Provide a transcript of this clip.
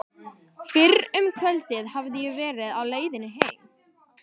Fyrr um kvöldið hafði ég verið á leiðinni heim.